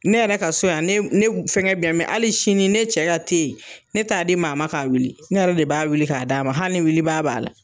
Ne yɛrɛ ka so yan ne b ne b fɛn gɛn be yan mɛ ali sini ne cɛ ka tee ne t'a di maa ma k'a wuli ne yɛrɛ de b'a wuli k'a d'a ma hali ni wuli baa b'a la